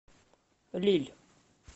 лилль